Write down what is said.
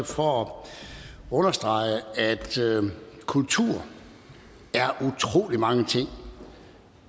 for at understrege at kultur er utrolig mange ting